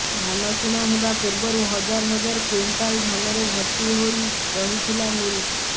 ଧାନ କିଣା ହେବା ପୂର୍ବରୁ ହଜାର ହଜାର କ୍ୱିଂଟାଲ ଧାନରେ ଭର୍ତି ହୋଇ ରହିଥିଲା ମିଲ୍